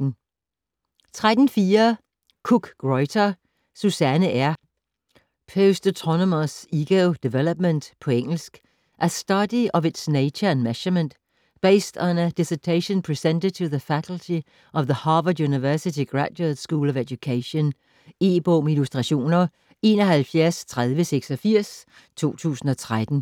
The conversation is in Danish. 13.4 Cook-Greuter, Susanne R.: Postautonomous Ego Development På engelsk. A Study of Its Nature and Measurement: based on a dissertation presented to the Faculty Of the Harvard University Graduate School of Education. E-bog med illustrationer 713086 2013.